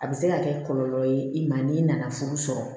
A bɛ se ka kɛ kɔlɔlɔ ye i ma n'i nana furu sɔrɔ